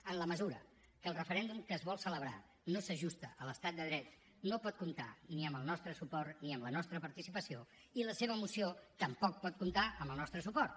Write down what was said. en la mesura que el referèndum que es vol celebrar no s’ajusta a l’estat de dret no pot comptar ni amb el nostre suport ni amb la nostra participació i la seva moció tampoc pot comptar amb el nostre suport